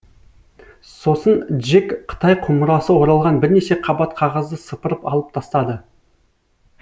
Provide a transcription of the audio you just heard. сосын джек қытай құмырасы оралған бірнеше қабат қағазды сыпырып алып тастады